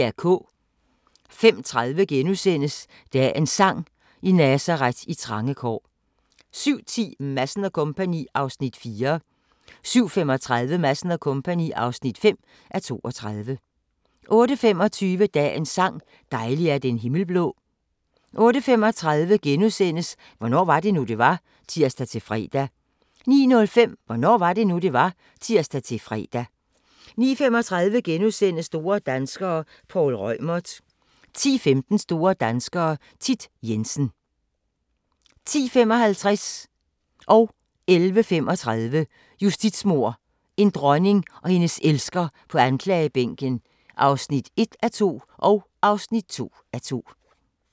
05:30: Dagens sang: I Nazaret, i trange kår * 07:10: Madsen & Co. (4:32) 07:35: Madsen & Co. (5:32) 08:25: Dagens sang: Dejlig er den himmel blå 08:35: Hvornår var det nu, det var? *(tir-fre) 09:05: Hvornår var det nu, det var? (tir-fre) 09:35: Store danskere - Poul Reumert * 10:15: Store danskere - Thit Jensen 10:55: Justitsmord – en dronning og hendes elsker på anklagebænken (1:2) 11:35: Justitsmord – en dronning og hendes elsker på anklagebænken (2:2)